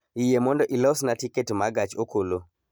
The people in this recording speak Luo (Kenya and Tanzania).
Yie mondo ilosna tiket ma gach okolo